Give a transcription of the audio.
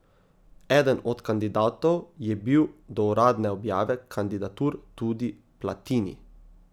Eden od kandidatov je bil do uradne objave kandidatur tudi Platini.